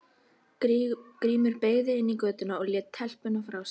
Grímur beygði inn í götuna og lét telpuna frá sér.